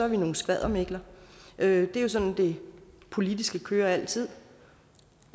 vi nogle skvaddermikler det er jo sådan det politiske kører altid